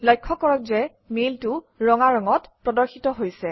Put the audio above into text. লক্ষ্য কৰক যে মেইলটো ৰঙা ৰঙত প্ৰদৰ্শিত হৈছে